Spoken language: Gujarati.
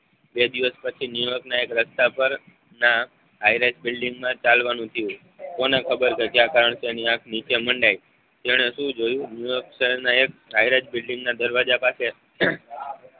બે દિવસ પછી ન્યુરોકના એક રસ્તા પર ના હાઇરાઇડ બિલિંગમેં ચાલવાનું થયું કોને ખબર કે ક્યાં કારણથી તેની આંખ નીચે મંડાઈ તેને શું જોયું ન્યુરેક શહેરના એક હાઇરાઇડ બિલિંગના દરવાજા પાસે